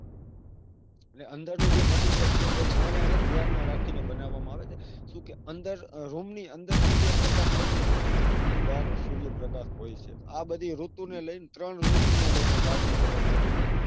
અને અંદર નું જે material છે. એ છાયા ને જ ધ્યાન માં રાખીને બનાવામાં આવે છે. સુ કે room ની અંદર સૂર્યપ્રકાશ આવતો નથી. room ની બાર સૂર્યપ્રકાશ હોય છે. આ બધી ઋતુને લઈને ત્રણ ઋતુને લઈને બાર નો colour બનેછે.